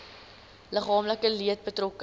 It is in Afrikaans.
liggaamlike leed betrokke